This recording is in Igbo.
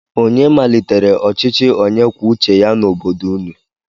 Onye malitere ọchịchị onye kwuo uche ya n'obodo ụnụ?